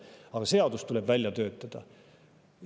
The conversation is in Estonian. Aga seadus tuleb välja töötada.